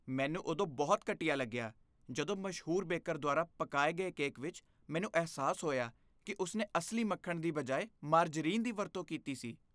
ਮੈਨੂੰ ਉਦੋਂ ਬਹੁਤ ਘਟੀਆ ਲੱਗਿਆ ਜਦੋਂ ਮਸ਼ਹੂਰ ਬੇਕਰ ਦੁਆਰਾ ਪਕਾਏ ਗਏ ਕੇਕ ਵਿੱਚ ਮੈਨੂੰ ਅਹਿਸਾਸ ਹੋਇਆ ਕਿ ਉਸਨੇ ਅਸਲੀ ਮੱਖਣ ਦੀ ਬਜਾਏ ਮਾਰਜਰੀਨ ਦੀ ਵਰਤੋਂ ਕੀਤੀ ਸੀ।